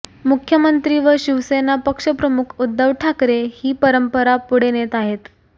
मुख्यमंत्री व शिवसेना पक्षप्रमुख उद्धव ठाकरे ही परंपरा पुढे नेत आहेत